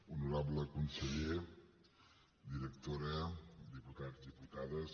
honorable conseller directora diputats diputades